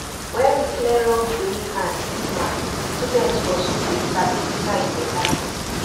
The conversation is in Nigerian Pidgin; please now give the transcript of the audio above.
when we clear wrong beliefs and stigma students for school dey sabi decide better